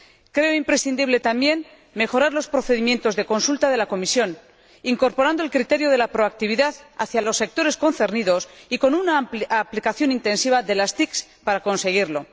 Creo imprescindible, también, mejorar los procedimientos de consulta de la Comisión, incorporando el criterio de la proactividad hacia los sectores concernidos y con una aplicación intensiva de las TIC para conseguirlo.